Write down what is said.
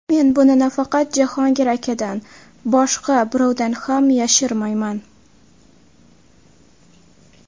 Men buni nafaqat Jahongir akadan boshqa birovdan ham yashirmayman.